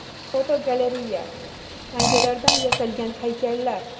Fotogalereya: Tangalardan yasalgan haykallar.